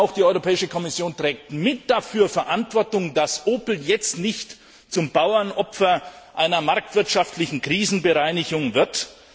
Die Europäische Kommission trägt auch mit dafür Verantwortung, dass Opel jetzt nicht zum Bauernopfer einer marktwirtschaftlichen Krisenbereinigung wird.